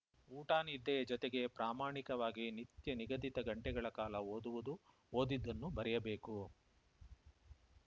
ಊಟ ನಿದ್ದೆಯ ಜೊತೆಗೆ ಪ್ರಮಾಣಿಕವಾಗಿ ನಿತ್ಯ ನಿಗದಿತ ಗಂಟೆಗಳ ಕಾಲ ಓದುವುದು ಓದಿದ್ದನ್ನು ಬರೆಯಬೇಕು